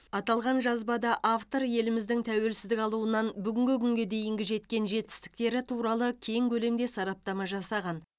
аталған жазбада автор еліміздің тәуелсіздік алуынан бүгінгі күнге дейінгі жеткен жетістіктері туралы кең көлемде сараптама жасаған